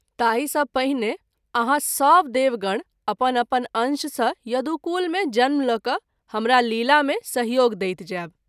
ताहि सँ पहिने आहाँ सभ देव गण अपन अपन अंश सँ यदुकुल मे जन्म ल’ क’ हमरा लीला मे सहयोग दैत जायब।